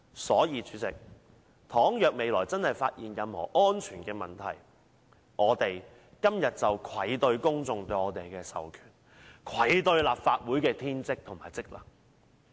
所以，主席，倘若未來真的發現任何工程安全問題，我們今天便愧對公眾對我們的授權，愧對立法會的天職和職能。